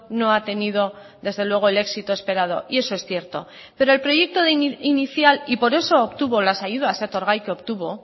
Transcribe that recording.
no ha tenido desde luego el éxito esperado y eso es cierto pero el proyecto de inicial y por eso obtuvo las ayudas etorgai que obtuvo